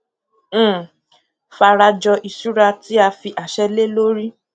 um farajọ ìṣura tí a fi àṣẹ lé lórí